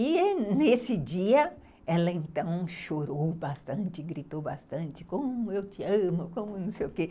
E nesse dia, ela então chorou bastante, gritou bastante, como eu te amo, como não sei o quê.